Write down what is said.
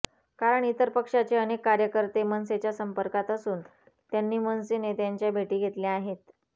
कारण इतर पक्षाचे अनेक कार्यकर्ते मनसेच्या संपर्कात असून त्यांनी मनसे नेत्यांच्या भेटी घेतल्या आहेत